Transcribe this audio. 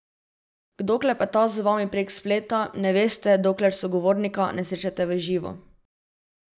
Kdo klepeta z vami prek spleta, ne veste, dokler sogovornika ne srečate v živo.